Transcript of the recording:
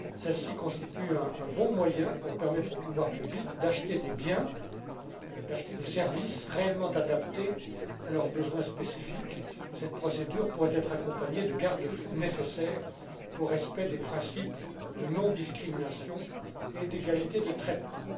Celle ci constitue un bon moyen pour permettre aux pouvoirs publics d'acheter des biens et des services réellement adaptés à leurs besoins spécifiques. Cette procédure pourrait être accompagnée des garde fous nécessaires au respect des principes de non discrimination et d'égalité de traitement.